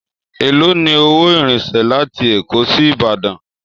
Èló ni owó ìrìnsẹ̀ láti Èkó sí Ìbàdàn?